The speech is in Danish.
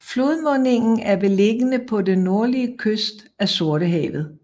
Flodmundingen er beliggende på den nordlige kyst af Sortehavet